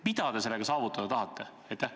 Mida te sellega saavutada tahate?